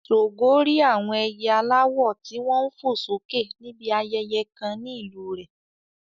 Ṣògo rí àwọn ẹyẹ aláwọ̀ tí wọ́n ń fò sókè níbi ayẹyẹ kan ní ìlú rẹ̀.